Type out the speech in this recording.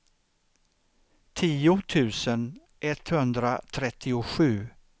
tio tusen etthundratrettiosju